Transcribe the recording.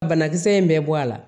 Banakisɛ in bɛ bɔ a la